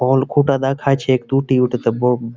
অংকটা দেখাইছে টুটি উঠেটে বোম ।